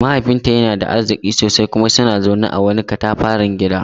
Mahaifinta yana da arziki sosai kuma suna zaune a wani katafaren gida.